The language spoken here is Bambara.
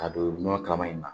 Ka don nɔnɔ kalaman in na